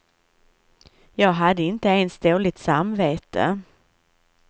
Jag hade inte ens dåligt samvete.